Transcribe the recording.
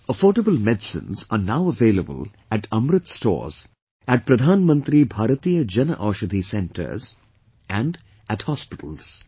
Affordable medicines are now available at 'Amrit Stores' at Pradhan Mantri Bharatiya Jan Aushadhi Centres & at hospitals